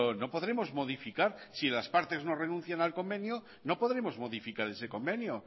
no podremos modificar si las partes no renuncian al convenio no podremos modificar ese convenio